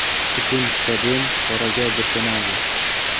Butun stadion qoraga burkanadi.